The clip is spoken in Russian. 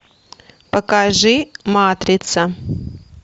покажи матрица